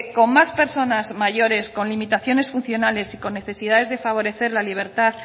con más personas mayores con limitaciones funcionales y con necesidades de favorecer la libertad